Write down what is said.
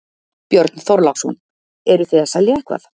Björn Þorláksson: Eruð þið að selja eitthvað?